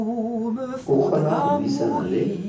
o kgona go buisa le